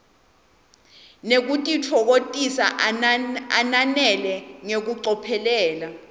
nekutitfokotisa ananele ngekucophelela